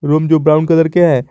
Room जो brown colour के हैं।